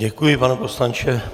Děkuji, pane poslanče.